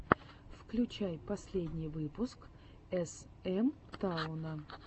включай последний выпуск эс эм тауна